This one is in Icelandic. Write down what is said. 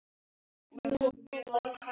Mínir menn verða fljót